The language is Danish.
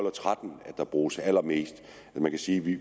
og tretten at der bruges allermest man kan sige at vi